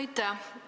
Aitäh!